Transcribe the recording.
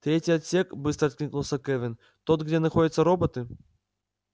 третий отсек быстро откликнулась кэлвин тот где находятся роботы